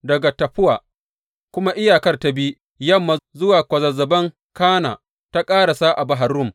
Daga Taffuwa kuma iyakar ta bi yamma zuwa kwazazzaban Kana, ta ƙarasa a Bahar Rum.